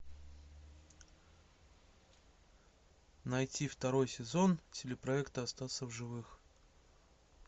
найти второй сезон телепроекта остаться в живых